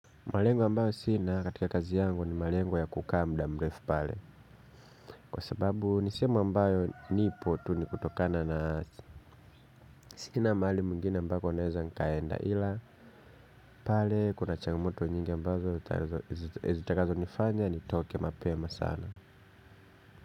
Malengo ambayo sina katika kazi yangu ni malengo ya kukaa muda mrefu pale. Kwa sababu ni sehemu ambayo nipo tu ni kutokana na sina mahali mwingine ambapo naeza nikaenda ila. Pale kuna changamoto nyingi ambazo zitakazonifanya nitoke mapema sana.